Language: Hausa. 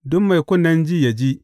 Duk mai kunnen ji, yă ji.